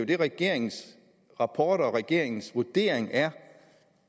det regeringens rapport siger og regeringens vurdering er